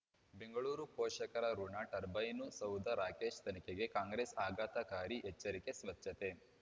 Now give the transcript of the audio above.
ಬೆಂಗಳೂರು ಪೋಷಕರಋಣ ಟರ್ಬೈನು ಸೌಧ ರಾಕೇಶ್ ತನಿಖೆಗೆ ಕಾಂಗ್ರೆಸ್ ಆಘಾತಕಾರಿ ಎಚ್ಚರಿಕೆ ಸ್ವಚ್ಛತೆ